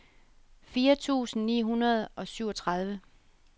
fire tusind ni hundrede og syvogtredive